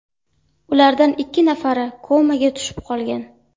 Ulardan ikki nafari komaga tushib qolgan.